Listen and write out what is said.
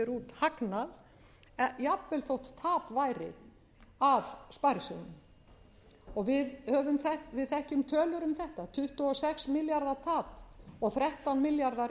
hagnað jafnvel þótt tap væri af sparisjóðnum við þekkjum tölur um þetta tuttugu og sex milljarða tap og þrettán milljarðar